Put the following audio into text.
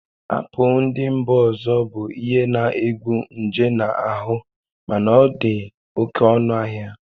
Apụl ndị mba ọzọ bụ ihe na-egbu nje na ahụ mana ọ dị oke ọnụ ahịa